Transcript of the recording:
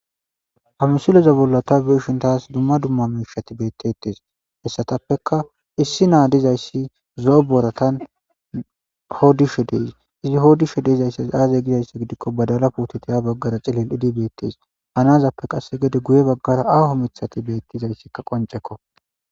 Ha missileza bolla ta be'ishin tas dumma duma mishati betetes hesatappekka issi na dizayissi zo'o boratan hodishshe de'es izi hodishe dizayissi aze gizayissa gidikko badala putekko ha baggara cilildi bettes ha nazappe guye bagara miththati betizayissi qoncekko